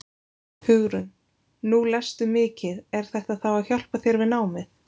Hugrún: Nú lestu mikið er þetta þá að hjálpa þér við námið?